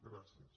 gràcies